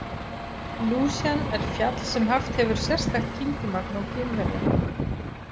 Lúsjan er fjall sem haft hefur sérstakt kyngimagn á Kínverja.